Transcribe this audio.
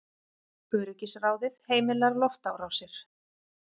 Öryggisráðið heimilar loftárásir